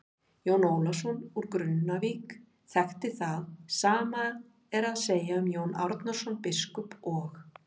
Jón Ólafsson úr Grunnavík þekkti það, sama er að segja um Jón Árnason biskup og.